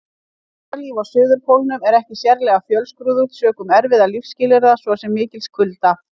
Dýralíf á Suðurpólnum er ekki sérlega fjölskrúðugt sökum erfiðra lífsskilyrða, svo sem mikils kulda.